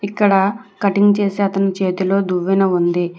ఇక్కడ కటింగ్ చేసే అతను చేతిలో దువ్వెన ఉంది.